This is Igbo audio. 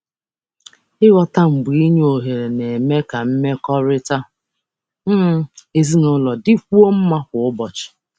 Ịghọta mgbe inye ohere na-eme ka mmekọrịta um ezinụlọ dịkwuo mma kwa ụbọchị.